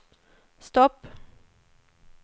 stopp